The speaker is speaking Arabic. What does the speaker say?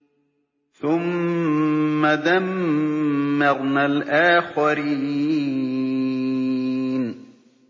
ثُمَّ دَمَّرْنَا الْآخَرِينَ